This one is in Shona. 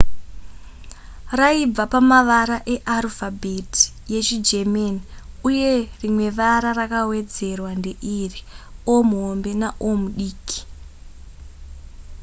raibva pamavara earufabheti yechigerman uye rimwe vara rakawedzerwa ndeiri: o/o